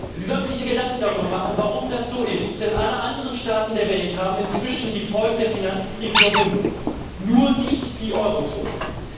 Sie sollten sich Gedanken darüber machen, warum das so ist, denn alle anderen Staaten der Welt haben inzwischen die Folgen der Finanzkrise überwunden, nur nicht die Eurozone.